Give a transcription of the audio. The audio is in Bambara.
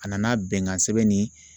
A nana bɛnkan sɛbɛn ni